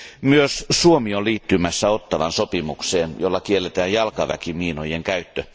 Myös Suomi on liittymässä Ottawan sopimukseen, jolla kielletään jalkaväkimiinojen käyttö.